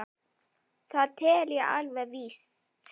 Það tel ég alveg víst.